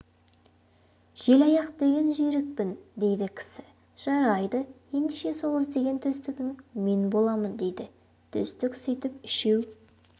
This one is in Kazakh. желаяқ деген жүйрікпін дейді кісі жарайды ендеше сол іздеген төстігің мен боламын дейді төстік сөйтіп үшеу